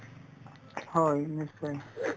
হয় নিশ্চয় নিশ্চয়